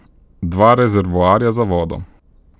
Dva rezervoarja za vodo.